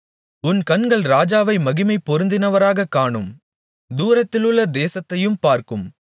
உன் கண்கள் ராஜாவை மகிமை பொருந்தினவராகக் காணும் தூரத்திலுள்ள தேசத்தையும் பார்க்கும்